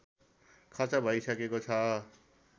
खर्च भइसकेको छ